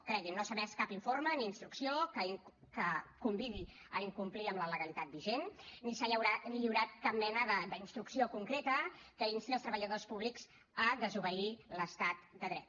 cregui’m no s’ha emès cap informe ni instrucció que convidi a incomplir amb la legalitat vigent ni s’ha lliurat cap mena d’instrucció concreta que insti els treballadors públics a desobeir l’estat de dret